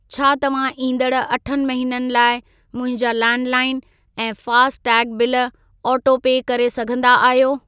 छा तव्हां ईंदड़ अठ महिननि लाइ मुंहिंजा लैंडलाइन ऐं फ़ास्टैग बिल ऑटोपे करे सघंदा आहियो?